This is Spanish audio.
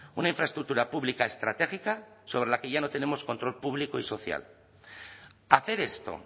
una infraestructura pública estratégica sobre la que ya no tenemos control público y social hacer esto